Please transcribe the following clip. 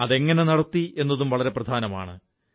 അത് എങ്ങനെ നടത്തി എന്നതും വളരെ പ്രധാനുമാണ്